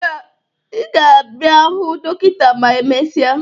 Ị ga-abịa hụ dọkịta ma emesịa